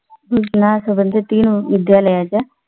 सूचना संबंधित तीन विद्यालयाच्या